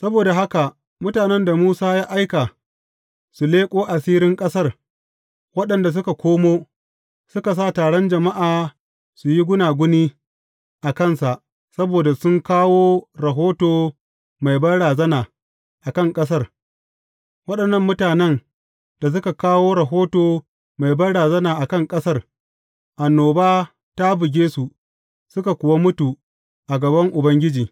Saboda haka mutanen da Musa ya aika, su leƙo asirin ƙasar, waɗanda suka komo, suka sa taron jama’a su yi gunaguni a kansa saboda sun kawo rahoto mai banrazana a kan ƙasar, waɗannan mutanen da suka kawo rahoto mai banrazana a kan ƙasar, annoba ta buge su, suka kuwa mutu a gaban Ubangiji.